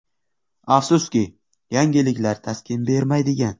“Afsuski, yangiliklar taskin bermaydigan.